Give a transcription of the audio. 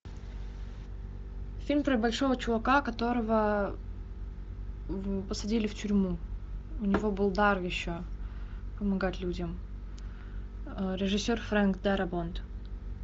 фильм про большого чувака которого посадили в тюрьму у него был дар еще помогать людям режиссер фрэнк дарабонт